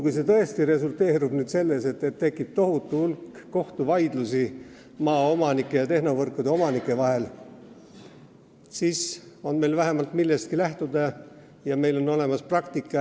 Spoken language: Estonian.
Kui see tõesti resulteerub selleks, et tekib tohutu hulk kohtuvaidlusi maaomanike ja tehnovõrkude omanike vahel, siis on meil vähemalt millestki lähtuda ja meil on olemas praktika.